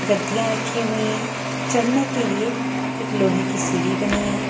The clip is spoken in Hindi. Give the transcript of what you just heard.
गद्दियां रखी हुई हैं चढ़ने के लिए एक लोहे की सीढ़ी बनी है।